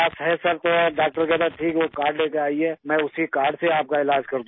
تو ڈاکٹر کہا ہے ٹھیک ہے وہ کارڈ لے کر آیئے میں اسی کارڈ سے آپ کا ا علاج کردوں گا